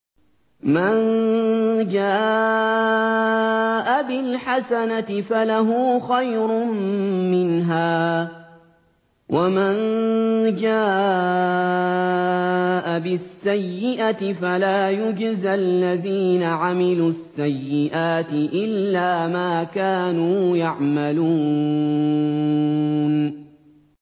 مَن جَاءَ بِالْحَسَنَةِ فَلَهُ خَيْرٌ مِّنْهَا ۖ وَمَن جَاءَ بِالسَّيِّئَةِ فَلَا يُجْزَى الَّذِينَ عَمِلُوا السَّيِّئَاتِ إِلَّا مَا كَانُوا يَعْمَلُونَ